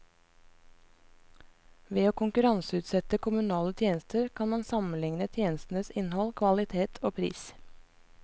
Ved å konkurranseutsette kommunale tjenester kan man sammenligne tjenestenes innhold, kvalitet og pris.